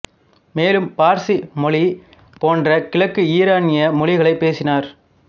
மேலும் பார்சி மொழி போன்ற கிழக்கு ஈரானிய மொழிகளை பேசினர்